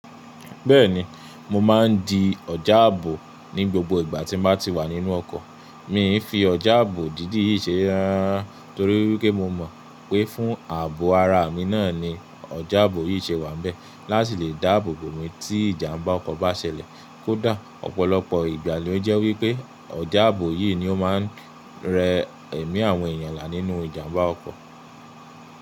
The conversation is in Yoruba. Bẹ́ẹ̀ni, mo ma ń di ọ̀já àbò ni gbogbo ìgbà tí mo bá ti wà nínú ọkọ̀. Mi ń fi ọ̀jà àbò dídì yìí ṣe ré rara rara rara torí wipé mo mọ̀ pé fún àbò ara mi náà ni ọ̀jà àbò yìí ṣe wà n bẹ́ẹ̀ láti lè dáàbòbò mi tí ìjàm̀bá ọkọ̀ bá ṣẹlẹ̀. Kó dà, ọ̀pọ̀lọpọ̀ ìgbà ló jẹ́ wí pé ọ̀jà àbò yìí ni ó máa ń rẹ ẹmí àwọn èyàn la nínú ìjàm̀bá ọkọ̀.